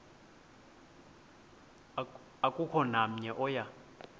akukho namnye oya